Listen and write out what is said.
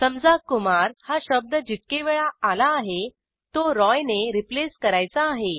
समजा कुमार हा शब्द जितके वेळा आला आहे तो रॉय ने रिप्लेस करायचा आहे